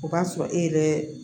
O b'a sɔrɔ e yɛrɛ